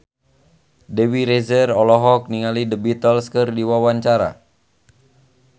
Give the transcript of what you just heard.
Dewi Rezer olohok ningali The Beatles keur diwawancara